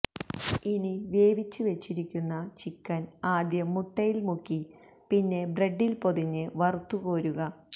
ഇനി വേവിച്ച് വെച്ചിരിക്കുന്ന ചിക്കന് ആദ്യം മുട്ടയില് മുക്കി പിന്നെ ബ്രെഡില് പൊതിഞ്ഞ് വറുത്ത് കോരുക